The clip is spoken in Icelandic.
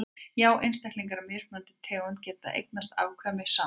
já einstaklingar af mismunandi tegundum geta eignast afkvæmi saman